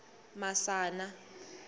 masana